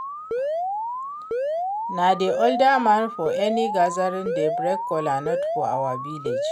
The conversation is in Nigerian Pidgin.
Na the oldest man for any gathering dey break kola nut for our village